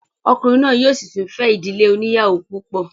Ọkùnrin náà yóò sì tún fẹ́ ìdílé oníyàwó púpọ̀